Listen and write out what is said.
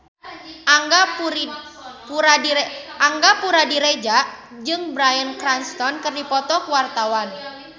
Angga Puradiredja jeung Bryan Cranston keur dipoto ku wartawan